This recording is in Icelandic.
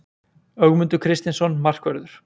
Ögmundur Kristinsson Markvörður